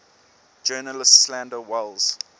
journalists slander welles